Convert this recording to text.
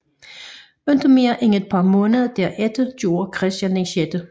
Ikke mere end et par måneder derefter gjorde Christian 6